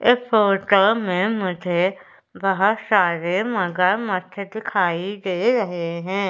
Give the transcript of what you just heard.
काम है मुझे बहुत सारे मगरमच्छ दिखाई दे रहे हैं।